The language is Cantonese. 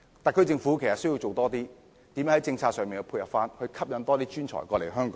特區政府需要多下工夫，想想如何在政策上作出配合，吸引更多專才來港。